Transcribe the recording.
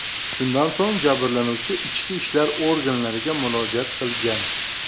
Shundan so‘ng jabrlanuvchi ichki ishlar organlariga murojaat qilgan.